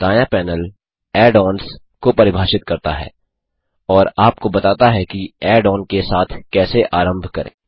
तो दायाँ panel add ons को परिभाषित करता है और आपको बताता है की ऐड ऑन के साथ कैसे आरंभ करें